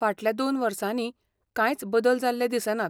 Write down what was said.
फाटल्या दोन वर्सांनी कांयच बदल जाल्ले दिसनात.